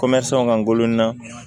ka ngulo n na